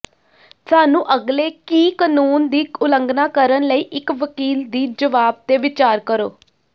ਸਾਨੂੰ ਅਗਲੇ ਕੀ ਕਾਨੂੰਨ ਦੀ ਉਲੰਘਣਾ ਕਰਨ ਲਈ ਇੱਕ ਵਕੀਲ ਦੀ ਜਵਾਬ ਤੇ ਵਿਚਾਰ ਕਰੋ